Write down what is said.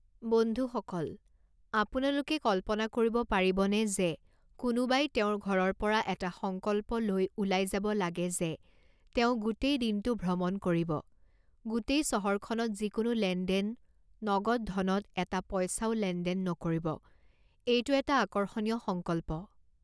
বন্ধুসকল, আপোনালোকে কল্পনা কৰিব পাৰিবনে যে কোনোবাই তেওঁৰ ঘৰৰ পৰা এটা সংকল্প লৈ ওলাই যাব লাগে যে তেওঁ গোটেই দিনটো ভ্ৰমণ কৰিব, গোটেই চহৰখনত যিকোনো লেনদেন, নগদ ধনত এটা পইচাও লেনদেন নকৰিব এইটো এটা আকৰ্ষণীয় সংকল্প।